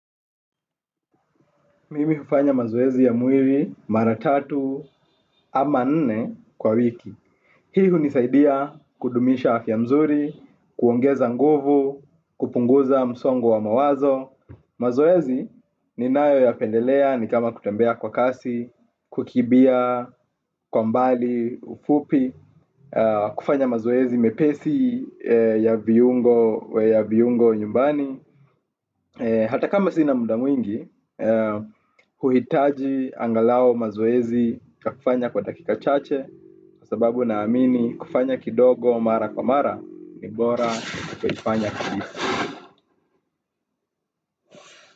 Mimi hufanya mazoezi ya mwli, maratatu, ama nne kwa wiki. Hii hunisaidia kudumisha afya nzuri, kuongeza nguvu, kupunguza msongo wa mawazo. Mazoezi ninayoyapendelea nikama kutembea kwa kasi, kukimbia kwa mbali ufupi. Kufanya mazoezi mepesi ya viungo, ya viungo nyumbani. Hata kama sina muda mwingi huhitaji angalau mazoezi ya kufanya kwa dakika chache sababu naamini kufanya kidogo mara kwa mara ni bora kufanya.